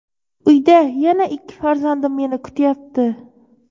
uyda yana ikki farzandim meni kutyapti.